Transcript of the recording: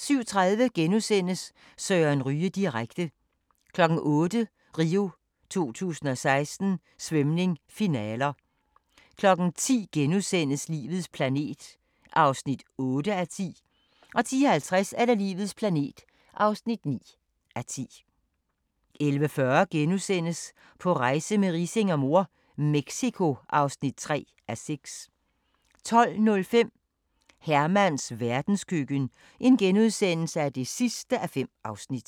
(2:3)* 07:30: Søren Ryge direkte * 08:00: RIO 2016: Svømning, finaler 10:00: Livets planet (8:10)* 10:50: Livets planet (9:10) 11:40: På rejse med Riising og mor - Mexico (3:6)* 12:05: Hermans verdenskøkken (5:5)*